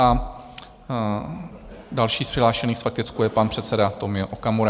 A další z přihlášených s faktickou je pan předseda Tomio Okamura.